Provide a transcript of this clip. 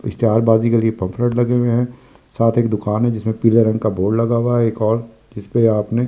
Star बाजीगर के pamphlet लगे हुए हैं साथ ही एक दुकान है जिसमें पीले रंग का बोर्ड लगा हुआ है एक और जिसपे आपने नीले।